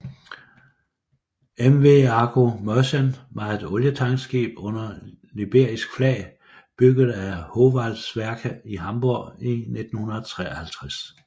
MV Argo Merchant var et olietankskib under liberisk flag bygget af Howaldtswerke i Hamborg i 1953